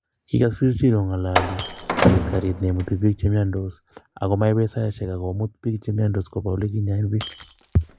kigoos kipchirchir kongololi, agoit karit neimuti biik cheimnyasot ago maibet saishek ago muut chegiaumianso koba oleginyoen biik